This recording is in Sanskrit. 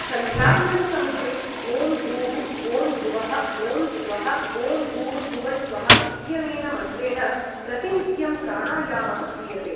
सन्ध्यावन्दनसमये ओं भूः ओं भुवः ओं स्वहः ओं भूर्भुवस्वहः इत्यनेन मन्त्रेण प्रतिनित्यं प्राणायामः क्रियते ।